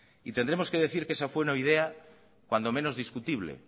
y tendremos que decir que esa fue una idea cuanto menos discutible